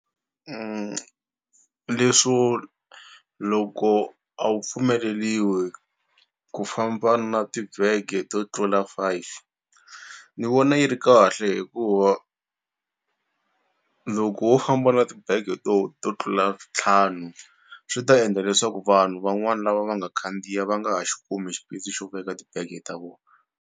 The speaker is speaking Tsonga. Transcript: Leswo loko a wu pfumeleliwi ku famba na tibege to tlula five ni vona yi ri kahle hikuva loko wo famba na ti bag-e to to tlula ntlhanu swi ta endla leswaku vanhu van'wani lava va nga khandziya va nga ha xi kumi xipesi xo veka tibege ta vona.